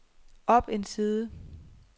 op en side